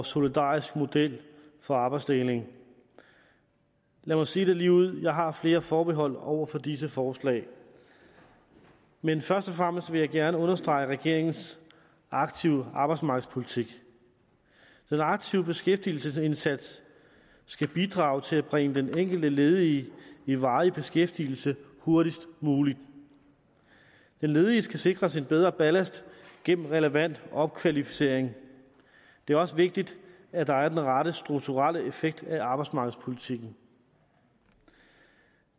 solidarisk model for arbejdsdeling lad mig sige det ligeud jeg har flere forbehold over for disse forslag men først og fremmest vil jeg gerne understrege regeringens aktive arbejdsmarkedspolitik den aktive beskæftigelsesindsats skal bidrage til at bringe den enkelte ledige i varig beskæftigelse hurtigst muligt den ledige skal sikres en bedre ballast gennem relevant opkvalificering det er også vigtigt at der er den rette strukturelle effekt af arbejdsmarkedspolitikken